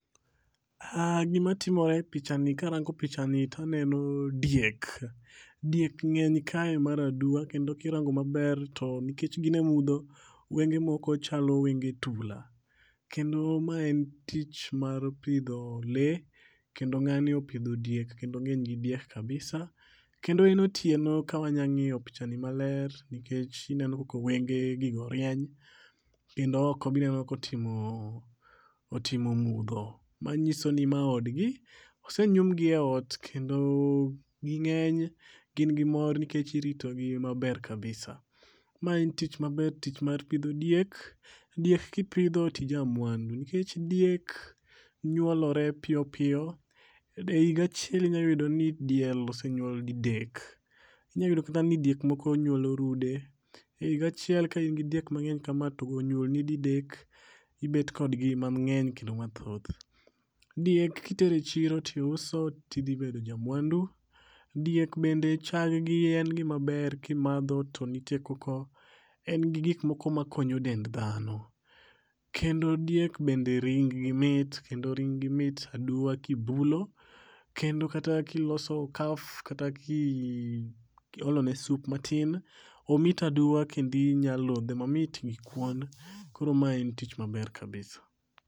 Gima timore e pichani karango pichani taneno diek. Diek ng'eny kae mar aduwa. Kendo kirango maber to nikech gin e mudho wenge moko chalo wenge tula. Kendo ma en tich mar pidho lee kendo ng'ani opidho diek kendo ong'eny gi diek kabisa. Kendo e otieno ka wanya ng'iyo pichani maler nikech ineno kaka wenge gigo rieny kendo oko be ineno kotimo mudho. Manyiso ni ma od gi. Osenyum gi e ot. Kendo ging'eny gin gi mor nikech irito gi maber kabisa. Ma en tich maber tich mar pidho diek. Diek kipidho tija mwandu nikech diek nyuolore piyo piyo. E higa achiel inyayudo ni diel osenyuol didek. Inya yudo kata ni diek moko nyuolo rude. E higa achiel kan in gi diek mang'eny kama to onyuol ni didek ibet kod gi mang'eny kendo mathoth. Diek kitero e chiro tiuso ti dhi bedo ja mwandu. Diek bende chag gi en gima ber kimadho to nitie koko en gi gik moko makonyo dend dhano. Kendo diek bende ring gi mit kendo ring gi mit aduwa kibulo. Kendo kata kiloso kaf kata kiolo ne sup matin, omit aduwa kendo inya lodhe mamit gi kuon. Koro ma en tich maber kabisa.